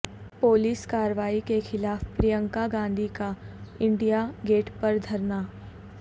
police کارروائی کیخلاف پرینکا گاندھی کا انڈیا گیٹ پر دھرنا